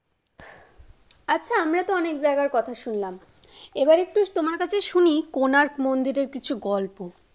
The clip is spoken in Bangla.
আচ্ছা, আমরা তো অনেক জায়গার কথা শুনলাম। এইবার একটু তোমার কাছে একটু শুনি কোণার্ক মন্দিরের কিছু গল্প ।